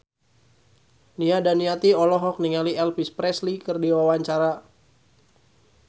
Nia Daniati olohok ningali Elvis Presley keur diwawancara